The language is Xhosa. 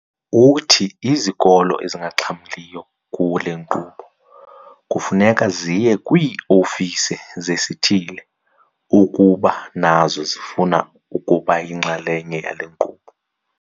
Uthi izikolo ezingaxhamliyo kule nkqubo kufuneka ziye kwii-ofisi zesithili ukuba nazo zifuna ukuba yinxalenye yale nkqubo.